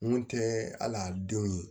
Mun tɛ al'a denw ye